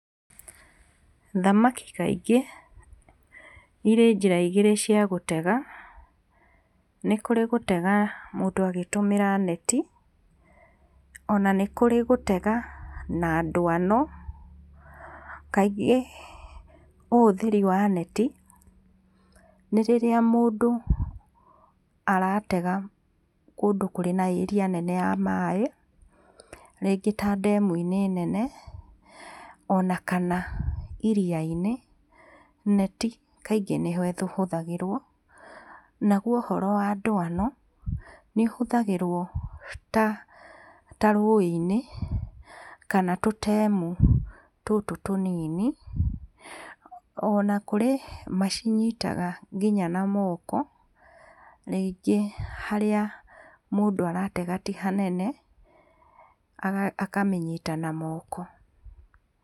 Thamaki kaingĩ ĩrĩ njĩra igĩrĩ cia gũtega, nĩ kũrĩ gũtega mũndũ agĩtũmĩra neti, ona nĩ kũrĩ gũtega na dwano, kaingĩ ũhũthĩrĩ wa neti, nĩ rĩrĩa mũndũ aratega kũndũ kwĩ na area nene ya maĩ ,rĩngĩ ta ndemuini nene ona kana iriaini, neti kaingĩ nĩho ĩhũthagĩrwo naguo ũhoro wa dwano ta rũiini kana tũtemu tũtũ tũnini ona kũrĩ macinyitaga nginya na moko, rĩngĩ harĩa mũndũ aratega ti hanene akamĩnyita na moko.